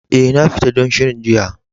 Eh, na fita don shirin jiya.